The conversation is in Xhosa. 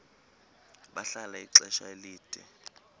bahlala ixesha elide